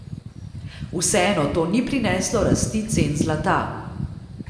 Vseeno to ni prineslo rasti cen zlata.